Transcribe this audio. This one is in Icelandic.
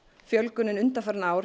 fjölgunin undanfarin ár